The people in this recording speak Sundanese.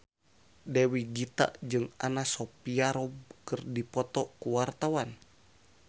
Dewi Gita jeung Anna Sophia Robb keur dipoto ku wartawan